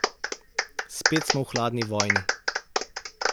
Spet smo v hladni vojni.